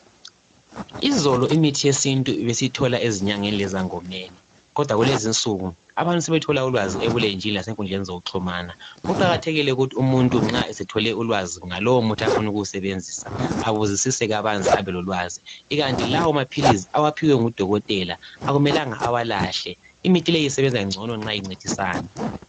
Izolo imithi yesintu besiyithola ezinyangeni lezangomeni. Kodwa kulezinsuku abantu sebethola ulwazi ebulenjini lasenkundleni zokuxhumana. Kuqakathekile ukuthi umuntu nxa esethole ulwazi ngalowo muthi afuna ukuwusebenzisa, abuzisise kabanzi abelolwazi. Ikanti lawo maphilisi awaphiwe ngudokotela ,akumelanga awalahle. Imithi le isebenza ngcono nxa incedisana.